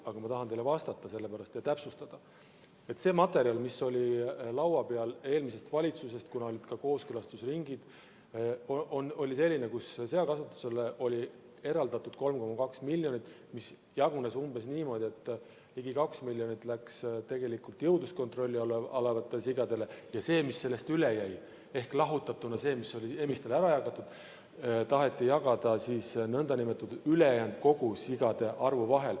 Aga ma tahan teile vastata sellepärast, et täpsustada, et see materjal, mis oli eelmisest valitsusest laua peal, kuna olid ka kooskõlastusringid, oli selline, et seakasvatusele oli eraldatud 3,2 miljonit eurot, mis jagunes umbes niimoodi, et ligi 2 miljonit läks jõudluskontrolli all olevatele sigadele ja see, mis sellest üle jäi – ehk lahutatuna see, mis oli emistele ära jagatud –, taheti jagada kõigi ülejäänud sigade vahel.